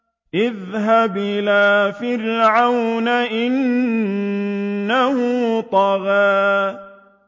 اذْهَبْ إِلَىٰ فِرْعَوْنَ إِنَّهُ طَغَىٰ